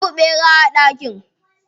Babu ɓera a daki.